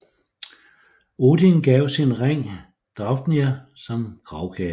Odin gav sin ring Draupnir som gravgave